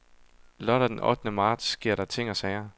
Lørdag den ottende marts sker der ting og sager.